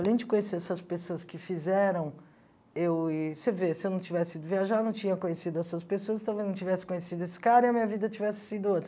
Além de conhecer essas pessoas que fizeram, eu e você vê, se eu não tivesse ido viajar, eu não tinha conhecido essas pessoas, talvez não tivesse conhecido esse cara e a minha vida tivesse sido outra.